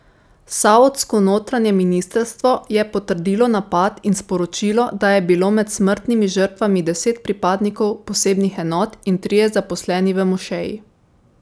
Saudsko notranje ministrstvo je potrdilo napad in sporočilo, da je bilo med smrtnimi žrtvami deset pripadnikov posebnih enot in trije zaposleni v mošeji.